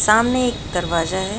सामने एक दरवाजा है।